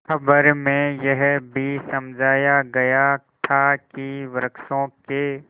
खबर में यह भी समझाया गया था कि वृक्षों के